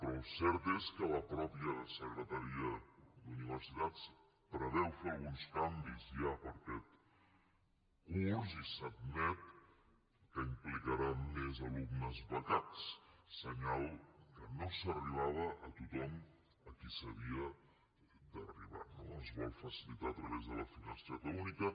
però el cert és que la mateixa secretaria d’universitats preveu fer hi alguns canvis ja per a aquest curs i s’admet que implicaran més alumnes becats senyal que no s’arribava a tothom a qui s’havia d’arribar no es vol facilitar a través de la finestreta única